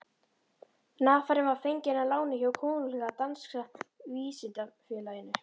Nafarinn var fenginn að láni hjá Konunglega danska vísindafélaginu.